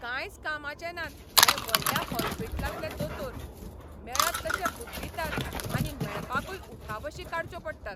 कांयच कामाचें नात हे व्हडल्या हॉस्पिटलांतले दोतोर, मेळत तशे बुड्डितात आनी मेळपाकूय उठाबशी काडच्यो पडटात.